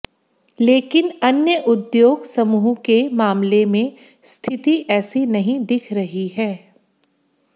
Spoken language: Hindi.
लेकिन अन्य उद्योग समूह के मामले में स्थिति ऐसी नहीं दिख रही है